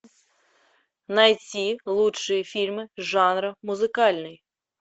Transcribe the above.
найти лучшие фильмы жанра музыкальный